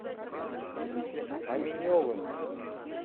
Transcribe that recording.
аминевым